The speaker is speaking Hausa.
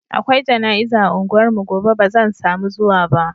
Akwai jana'iza a unguwarmu gobe ba zan samu zuwa ba.